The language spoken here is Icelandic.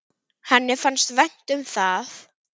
Henni fannst vænt um það.